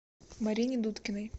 марине дудкиной